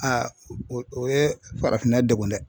o o ye farafinna degun dɛ.